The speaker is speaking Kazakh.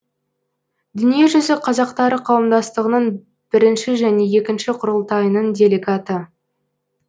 дүниежүзі қазақтары қауымдастығының бірінші және екінші құрылтайының делегаты